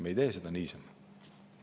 Me ei tee seda niisama.